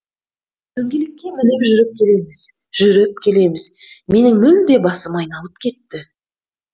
дөңгелекке мініп жүріп келеміз жүріп келеміз менің мүлде басым айналып кетті